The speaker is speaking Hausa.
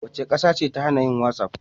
Wace ƙasa ce ta hana yin whatsapp?